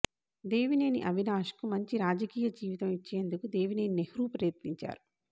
దేవినేని అవినాశ్కు మంచి రాజకీయ జీవితం ఇచ్చేందుకు దేవినేని నెహ్రూ ప్రయత్నించారు